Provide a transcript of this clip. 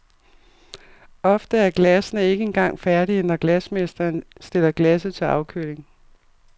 Ofte er glassene ikke engang færdige, når glasmesteren stiller glasset til afkøling.